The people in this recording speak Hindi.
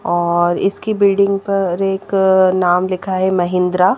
और इसकी बिल्डिंग पर एक नाम लिखा है महिंद्रा ।